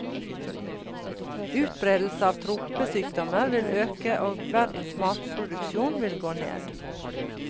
Utbredelse av tropesykdommer vil øke og verdens matproduksjon vil gå ned.